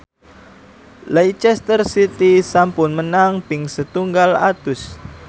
Leicester City sampun menang ping setunggal atus